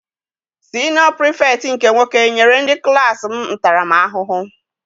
Siniọ Pirifetktị nke nwoke nyere ndị klassi m ntara m ahụhụ.